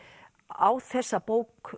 á þessa bók